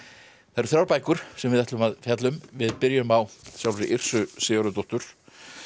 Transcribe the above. það eru þrjár bækur sem við ætlum að fjalla um við byrjum á sjálfri Sigurðardóttur